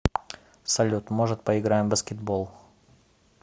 салют может поиграем в баскетбол